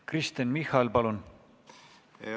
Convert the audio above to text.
Kristen Michal, palun!